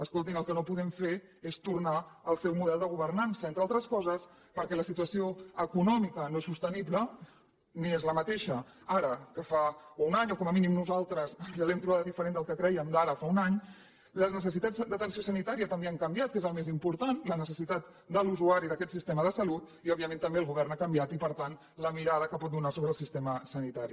escoltin el que no podem fer és tornar al seu model de governança entre altres coses perquè la situació econòmica no és sostenible ni és la mateixa ara que fa un any o com a mínim nosaltres ens l’hem trobada diferent del que crèiem d’ara fa un any les necessitats d’atenció sanitària també han canviat que és el més important la necessitat de l’usuari d’aquest sistema de salut i òbviament també el govern ha canviat i per tant la mirada que pot donar sobre el sistema sanitari